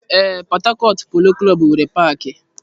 Ee, Port Harcourt polo klọb nwere paaki.